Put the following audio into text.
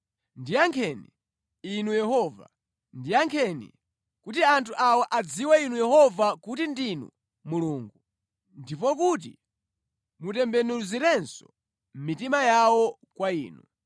Ndiyankheni, Inu Yehova, ndiyankheni, kuti anthu awa adziwe Inu Yehova, kuti ndinu Mulungu, ndipo kuti mutembenuziranso mitima yawo kwa Inu.”